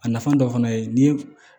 A nafa dɔ fana ye ni ye